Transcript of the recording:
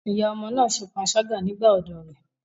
Ìyá ọmọ náà ṣe panṣágà nígbà ọ̀dọ́ rẹ̀.